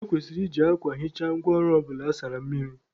E kwesịrị iji akwa hichaa ngwa ọrụ ọbụla a sara mmiri.